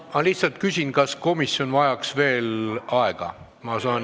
Ma lihtsalt küsin, kas komisjon vajaks veel aega.